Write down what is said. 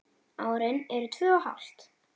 Árin eru tvö og hálft.